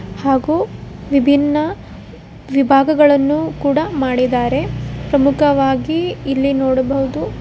ಹಾಗು ವಿಭಿನ್ನ ವಿಭಾಗಗಳನ್ನು ಕೂಡ ಮಾಡಿದ್ದಾರೆ ಪ್ರಮುಖವಾಗಿ ಇಲ್ಲಿ ನೋಡಬಹುದು--